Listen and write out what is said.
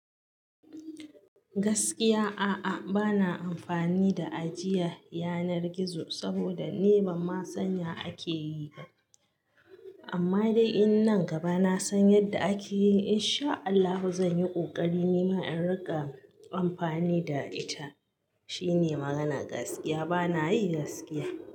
Gaskiya a'a bana amfani da ajiya yanar gizo saboda ni ban ma san ya ake yi ba. Amma dai in nan gaba na san yadda ake yi in sha Allahu zan yi ƙoƙari nima in riƙa amfani da ita. Shine magana gaskiya bana yi gaskiya.